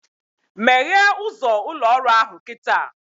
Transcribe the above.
Meghee ụzọ ụlọ ọrụ ahụ kịta!